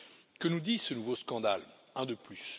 Que nous dit ce nouveau scandale un de plus?